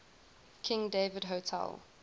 king david hotel